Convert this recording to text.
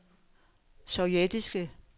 sovjetiske